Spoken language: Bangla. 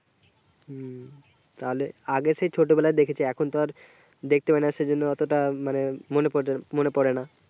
হুম তাহলে আগে সেই ছোটো বেলায় দেখেছি এখন তো আর দেখতে পায়না সেজন্য আর মনে পড়েনা